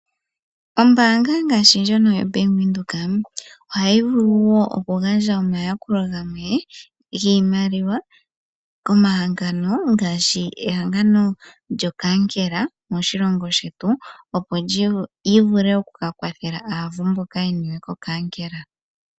Ombaanga ngashi ndjono yaVenduka ,ohayi vulu wo oku gandja omayakulo gamwe giimaliwa komahangano ngashi ehangano lyokankela moshilongo shetu, opo lyi vule oku ka kwathela aavu mboka ye niwe kokankela.